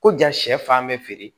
Ko ja sɛ fan bɛ feere